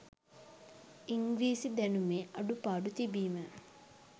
ඉංග්‍රීසි දැනුමේ අඩු පාඩු තිබීම